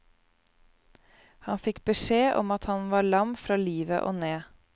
Han fikk beskjed om at han var lam fra livet og ned.